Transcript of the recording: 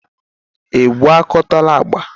ị gwakọtala agba?